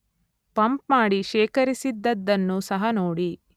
Pump ಮಾಡಿ ಶೇಖರಿಸಿದದ್ದನ್ನು ಸಹ ನೋಡಿ.